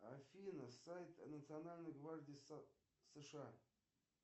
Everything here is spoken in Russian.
афина сайт национальной гвардии сша